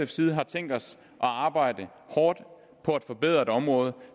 side har tænkt os at arbejde hårdt på at forbedre et område